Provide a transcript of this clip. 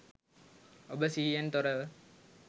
ඔබ සිහියෙන් තොරව